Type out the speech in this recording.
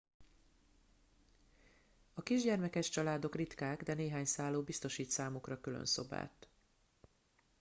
a kisgyermekes családok ritkák de néhány szálló biztosít számukra külön szobát